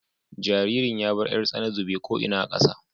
Jaririn ya bar 'yar tsana zube ko ina a ƙasa.